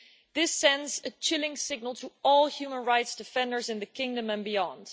This sends a chilling signal to all human rights defenders in the kingdom and beyond.